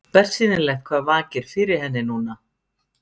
Bersýnilegt hvað vakir fyrir henni núna.